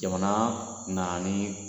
Jamana nana ni